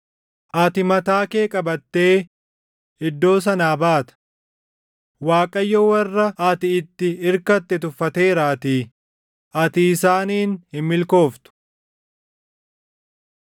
Ati mataa kee qabattee, iddoo sanaa baata; Waaqayyo warra ati itti irkatte tuffateeraatii; ati isaaniin hin milkooftu.